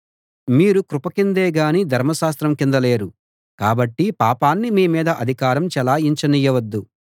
మీరు కృప కిందే గానీ ధర్మశాస్త్రం కింద లేరు కాబట్టి పాపాన్ని మీ మీద అధికారం చెలాయించ నియ్యవద్దు